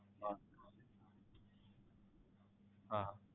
હા હા